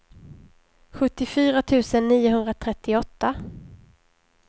sjuttiofyra tusen niohundratrettioåtta